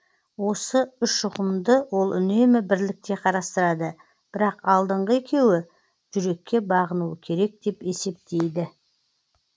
осы үш ұғымды ол үнемі бірлікте қарастырады бірақ алдыңғы екеуі жүрекке бағынуы керек деп есептейді